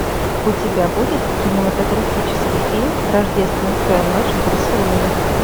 у тебя будет кинематографический фильм рождественская ночь в барселоне